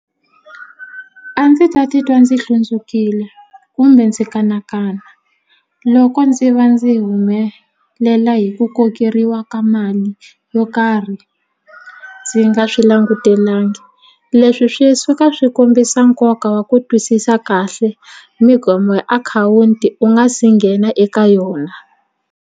A ndzi ta titwa ndzi hlundzukile kumbe ndzi kanakana loko ndzi va ndzi humelela hi ku kokeriwa ka mali yo karhi ndzi nga swi langutelanga leswi swi suka swi kombisa nkoka wa ku twisisa kahle ya akhawunti u nga si nghena eka yona.